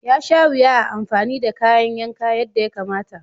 Yasha wuya a amfani da kayan yanka yadda ya kamata.